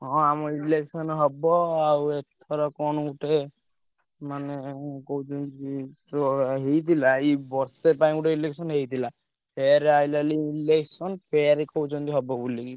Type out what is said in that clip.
ହଁ ଆମ election ହବ ଆଉ ଏଥର କଣ ଗୋଟେ ମାନେ କହୁଛନ୍ତି ଯୋଉଭଳିଆ ହେଇଥିଲା ଏଇ ବର୍ଷେ ପାଇଁ ଗୋଟେ election ହେଇଥିଲା ଫେର ଆସିଲା election ଫେର କହୁଛନ୍ତି ହବ ବୋଲି।